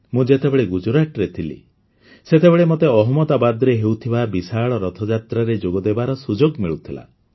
ମୁଁ ଯେତେବେଳେ ଗୁଜରାଟରେ ଥିଲି ସେତେବେଳେ ମୋତେ ଅହମ୍ମଦାବାଦରେ ହେଉଥିବା ବିଶାଳ ରଥଯାତ୍ରାରେ ଯୋଗଦେବାର ସୁଯୋଗ ମିଳୁଥିଲା